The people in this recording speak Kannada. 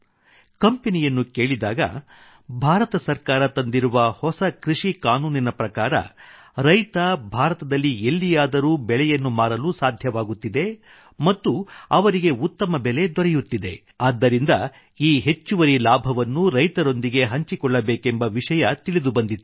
ಕಂಪೆನಿಯನ್ನು ಕೇಳಿದಾಗ ಭಾರತ ಸರ್ಕಾರ ತಂದಿರುವ ಹೊಸ ಕೃಷಿ ಕಾನೂನಿನ ಪ್ರಕಾರ ರೈತ ಭಾರತದಲ್ಲಿ ಎಲ್ಲಿಯಾದರೂ ಬೆಳೆಯನ್ನು ಮಾರಲು ಸಾಧ್ಯವಾಗುತ್ತಿದೆ ಮತ್ತು ಅವರಿಗೆ ಉತ್ತಮ ಬೆಲೆ ದೊರೆಯುತ್ತಿದೆ ಆದ್ದರಿಂದ ಈ ಹೆಚ್ಚುವರಿ ಲಾಭವನ್ನು ರೈತರೊಂದಿಗೆ ಹಂಚಿಕೊಳ್ಳಬೇಕೆಂಬ ವಿಷಯ ತಿಳಿದು ಬಂದಿತು